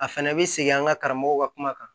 A fɛnɛ bɛ segin an ka karamɔgɔw ka kuma kan